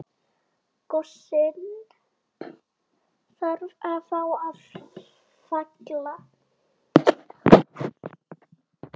Gosinn þarf þá að falla.